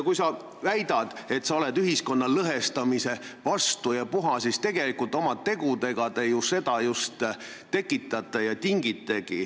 Sa väidad, et sa oled ühiskonna lõhestamise vastu ja puha, aga oma tegudega te ju seda lõhet just tekitate.